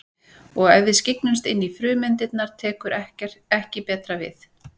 Og ef við skyggnumst inn í frumeindirnar tekur ekki betra við.